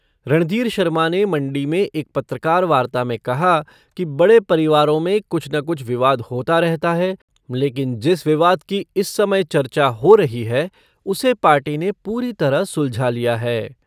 रणधीर शर्मा ने मण्डी में एक पत्रकार वार्ता में कहा कि बड़े परिवारों में कुछ न कुछ विवाद होता रहता है लेकिन जिस विवाद की इस समय चर्चा हो रही है उसे पार्टी ने पूरी तरह सुलझा लिया है।